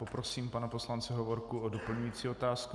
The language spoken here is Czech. Poprosím pana poslance Hovorku o doplňující otázku.